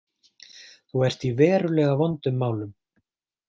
Þú ert í verulega vondum málum.